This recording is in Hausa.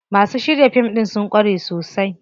Masu shirya fim ɗin sun ƙware sosai.